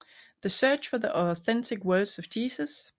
The Search for the Authentic Words of Jesus